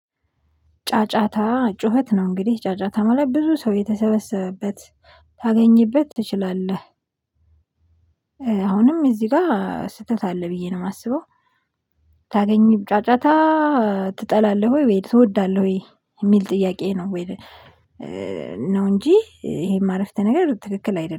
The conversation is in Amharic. ጫጫታ ጩኸት ነው እንግዲህ ጫጫታ ማለት ብዙ ሰው የተሰበሰበበት ታገኝበት ትችላለህ። አሁንም እዚህ ጋር ስህተት አለ ብዬ ነው የማስበው። ታገኚም ጫጫታ ትጠላለህ ወይ ትወዳለህ ወይ የሚል ጥያቄ ነው ወይ? ነው እንጂ ይሄ አረፍተ ነገር ትክክል አይደለም